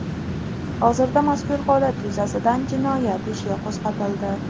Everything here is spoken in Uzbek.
Hozirda mazkur holat yuzasidan jinoyat ishi qo‘zg‘atildi.